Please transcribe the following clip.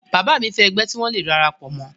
bàbá mi fẹ́ ẹgbẹ́ tí wọ́n le darapọ̀ mọ́